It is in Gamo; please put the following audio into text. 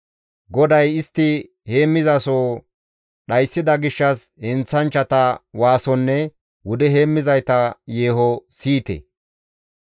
GODAY istti heemmizasoho dhayssida gishshas heenththanchchata waasonne wude heemmizayta yeeho siyite.